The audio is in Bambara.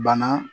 Bana